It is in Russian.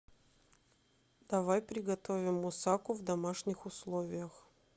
давай приготовим мусаку в домашних условиях